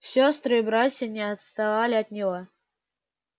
сестры и братья не отставали от него